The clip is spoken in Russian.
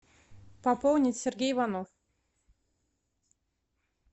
пополнить сергей иванов